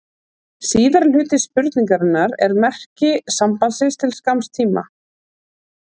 Síðari hluti spurningarinnar er um merkingu sambandsins til skamms tíma.